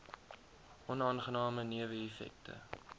onaangename newe effekte